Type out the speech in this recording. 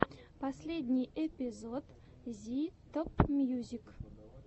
последний эпизод зи топмьюзик